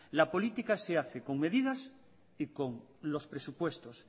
la política se hace con medidas y con los presupuestos